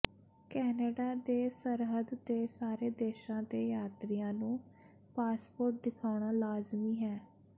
Canada ਦੇ ਸਰਹੱਦ ਤੇ ਸਾਰੇ ਦੇਸ਼ਾਂ ਦੇ ਯਾਤਰੀਆਂ ਨੂੰ ਪਾਸਪੋਰਟ ਦਿਖਾਉਣਾ ਲਾਜ਼ਮੀ ਹੈ